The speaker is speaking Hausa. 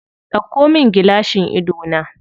Ɗauko min gilashin idona.